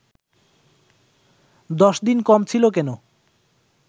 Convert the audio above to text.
দশদিন কম ছিল কেন